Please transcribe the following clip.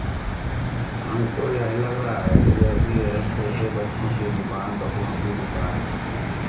हमको यह लग रहा है कि जैसे यह छोटे बच्चों की दुकान कपड़ों की दुकान है।